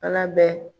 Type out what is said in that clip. Ala bɛ